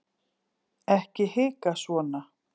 ekki hika svona